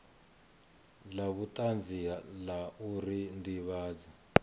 la vhutanzi la uri ndivhadzo